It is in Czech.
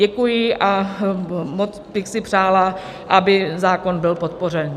Děkuji a moc bych si přála, aby zákon byl podpořen.